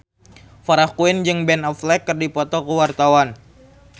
Farah Quinn jeung Ben Affleck keur dipoto ku wartawan